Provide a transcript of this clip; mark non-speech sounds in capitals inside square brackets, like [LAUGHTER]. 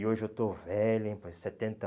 E hoje eu estou velho, hein? [UNINTELLIGIBLE] Setenta